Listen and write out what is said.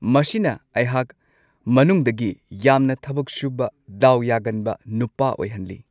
ꯃꯁꯤꯅ ꯑꯩꯍꯥꯛ ꯃꯅꯨꯡꯗꯒꯤ ꯌꯥꯝꯅ ꯊꯕꯛ ꯁꯨꯕ ꯗꯥꯎ ꯌꯥꯒꯟꯕ ꯅꯨꯄꯥ ꯑꯣꯏꯍꯟꯂꯤ